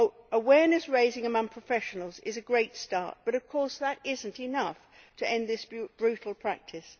Awareness raising among professionals is a great start but of course that is not enough to end this brutal practice.